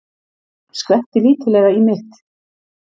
Skvetti lítillega í mitt.